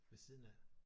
Ved siden af?